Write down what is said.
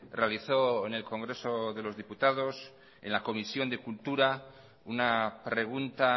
realizó en el congreso de los diputados en la comisión de cultura una pregunta